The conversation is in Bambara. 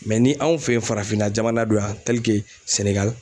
ni anw fe yen farafinna jamana don ya SENEGALI